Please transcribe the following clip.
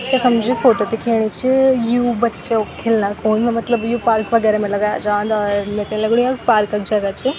यखम जू फोटो दिखेणी च यु बच्चो क खिलना-खुल मतलब यु पार्क वगैरा मा लगाया जान्द और मेथे लगणु यख पार्क क जगह च।